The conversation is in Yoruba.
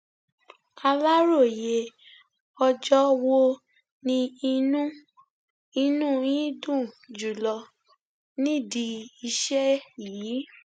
aláròye ọjọ wo ni inú inú yín dùn jùlọ nídìí iṣẹ yìí